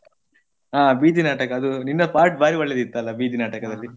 ಆ ಬೀದಿ ನಾಟಕ ಅದು ನಿನ್ನ part ಭಾರಿ ಒಳ್ಳೆದಿತ್ತಲ್ಲ ಬೀದಿ ನಾಟಕದಲ್ಲಿ.